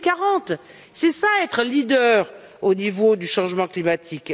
2040. C'est cela être leader au niveau du changement climatique.